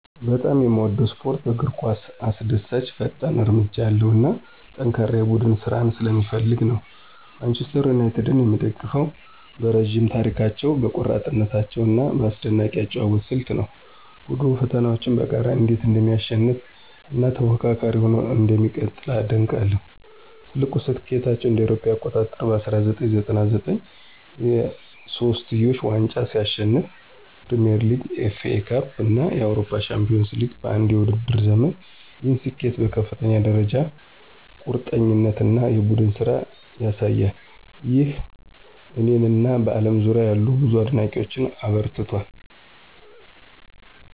በጣም የምወደው ስፖርት እግር ኳስ አስደሳች፣ ፈጣን እርምጃ ያለው እና ጠንካራ የቡድን ስራን ስለሚፈልግ ነው። ማንቸስተር ዩናይትድን የምደግፈው በረዥም ታሪካቸው፣ በቆራጥነታቸው እና በአስደናቂ የአጨዋወት ስልት ነው። ቡድኑ ፈተናዎችን በጋራ እንዴት እንደሚያሸንፍ እና ተፎካካሪ ሆኖ እንደሚቀጥል አደንቃለሁ። ትልቁ ስኬታቸው እ.ኤ.አ. በ1999 የሶስትዮሽ ዋንጫን ሲያሸንፉ ፕሪሚየር ሊግ፣ ኤፍኤ ካፕ እና የአውሮፓ ቻምፒዮንስ ሊግ በአንድ የውድድር ዘመን፣ ይህ ስኬት በከፍተኛ ደረጃ ቁርጠኝነት እና የቡድን ስራን ያሳያል። ይህ እኔን እና በአለም ዙሪያ ያሉ ብዙ አድናቂዎችን አበረታቷል